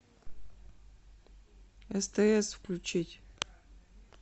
стс включить